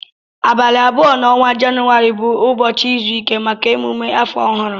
Abali abụọ na ọnwa jauary bu ụbọchi izụike maka emume afọọ ọhụ.